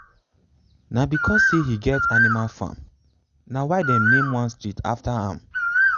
na because say he get animal farm na why them name one street after am.